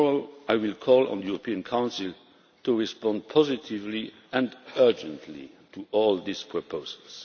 Tomorrow, I will call on the European Council to respond positively and urgently to all of these proposals.